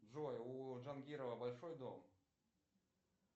джой у джангирова большой дом